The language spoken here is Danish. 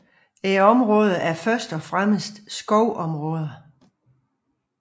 Området er først og fremmest skovområder